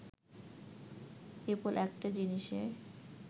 কেবল একটা জিনিসে